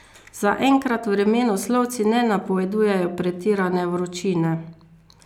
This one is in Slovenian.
Zaenkrat vremenoslovci ne napovedujejo pretirane vročine.